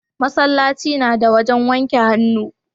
masallaci na da wajen wanke hannu